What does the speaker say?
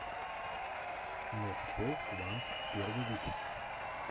нохчо квант первый выпуск